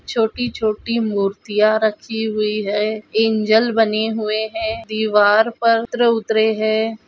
छोटी-छोटी मूर्तिया रखी हुई है एंजल बने हुए है दीवार पर चित्र उतरे है।